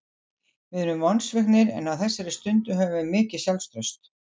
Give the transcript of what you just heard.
Við erum vonsviknir en á þessari stundu höfum við mikið sjálfstraust.